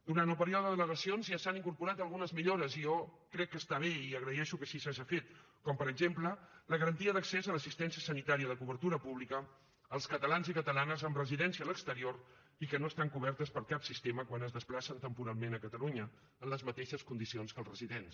durant el període d’al·legacions ja s’han incorporat algunes millores i jo crec que està bé i agraeixo que així s’hagi fet com per exemple la garantia d’accés a l’assistència sanitària de cobertura pública als catalans i catalanes amb residència a l’exterior i que no estan coberts per cap sistema quan es desplacen temporalment a catalunya en les mateixes condicions que els residents